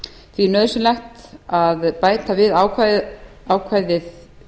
því er nauðsynlegt að bæta við ákvæði